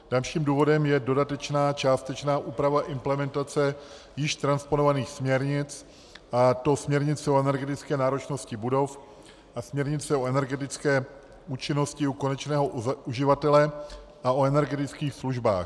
Dalším důvodem je dodatečná částečná úprava implementace již transponovaných směrnic, a to směrnic o energetické náročnosti budov a směrnice o energetické účinnosti u konečného uživatele a o energetických službách.